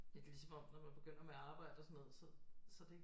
Det er lidt lige som om når man begynder med arbejde og sådan noget så så er det ikke